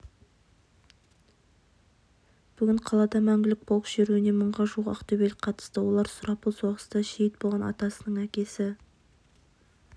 бүгін қалада мәңгілік полк шеруіне мыңға жуық ақтөбелік қатысты олар сұрапыл соғыста шейіт болған атасының әкесі